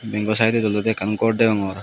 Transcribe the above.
bengo saedodi olode ekkan gor deongor.